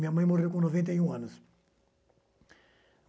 Minha mãe morreu com noventa e um anos.